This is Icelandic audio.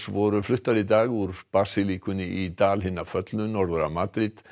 voru fluttar í dag úr í Dal hinna föllnu norður af Madríd